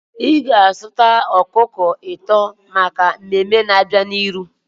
Ị ga-azụta ọkụkọ atọ maka mmemme na-abịa n'ihu.